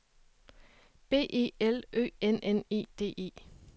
B E L Ø N N E D E